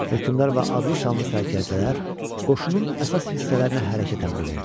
Hökmdar və adlı-sanlı sərkərdələr qoşunun əsas hissələrinə hərəkət əmri verdi.